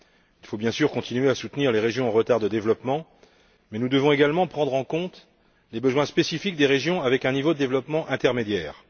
Il faut, bien sûr, continuer à soutenir les régions en retard en matière de développement, mais nous devons également prendre en compte les besoins spécifiques des régions avec un niveau de développement intermédiaire.